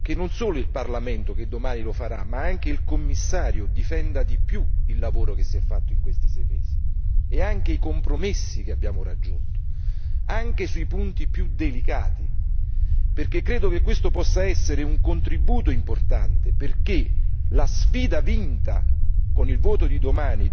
E vorrei soprattutto che non solo il Parlamento che domani lo farà, ma anche il Commissario difenda di più il lavoro che si è fatto in questi sei mesi, e anche i compromessi che abbiamo raggiunto, anche sui punti più delicati, perché credo che questo possa essere un contributo importante perché la sfida vinta